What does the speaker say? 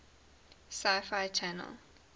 sci fi channel